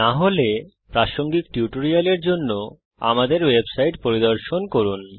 না হলে প্রাসঙ্গিক টিউটোরিয়ালের জন্য আমাদের ওয়েবসাইট পরিদর্শন করুন